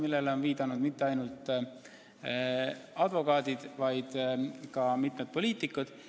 Sellele pole viidanud ainult advokaadid, vaid ka mitmed poliitikud.